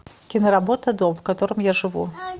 киноработа дом в котором я живу